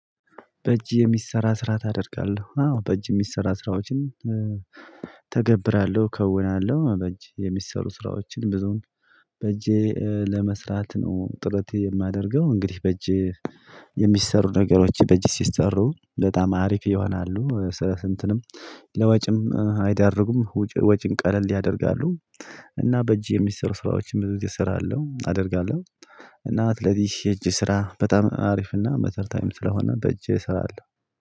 በእጅ የሚሰራ ስራ ታደርጋለህ አዎ በእጅ የሚሰራ ስራዎችን ተገብራለሁ ከውናለሁ በእጅ የሚሰሩ ስራዎችን ብዙን በእጄ ለመስራት ነው ጥረቴ የማደርገው እንግዲህ በእጄ የሚሰሩ ነገሮች በእጅ ሲሰሩ በጣም አሪፍ ይሆናሉ። ለወጪም አይዳርጉም ወጭን ቀለል ያደርጋሉ። እና በእጅ የሚሰሩ ስራዎችን ብዙ እሰራለሁ አደርጋለሁ። እና ለዚህ እጅ ስራ በጣም አሪፍ እና መተር ታይም ስለሆነ በእጅ እሰራለሁ።